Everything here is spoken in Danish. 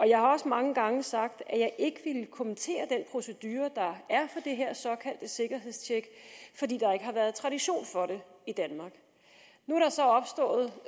jeg har også mange gange sagt at jeg ikke ville kommentere den procedure der er det her såkaldte sikkerhedstjek fordi der ikke har været tradition for det i danmark nu